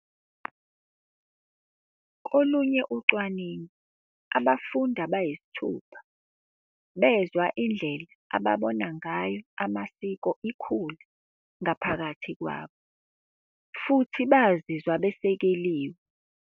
Kolunye ucwaningo, abafundi abayisithupha bezwa indlela ababona ngayo amasiko ikhula ngaphakathi kwabo futhi bazizwa besekeliwe.